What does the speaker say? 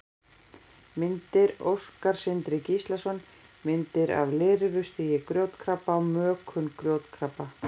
Myndir: Óskar Sindri Gíslason: Myndir af lirfustigi grjótkrabba og mökun grjótkrabba.